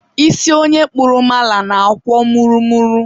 isi onye kpụrụ mala na-akwọ mụrụ mụrụ.